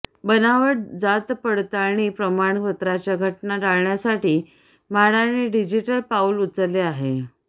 बनावट जातपडताळणी प्रमाणपत्राच्या घटना टाळण्यासाठी म्हाडाने डिजिटल पाऊल उचलले आहे